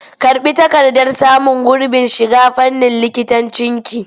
Karɓi takardar samun gurbin shiga fannin likitancinki!